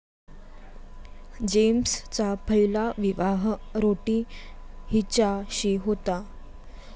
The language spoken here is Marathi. जेम्सचा पहिला विवाह रोठी हिच्याशी होता.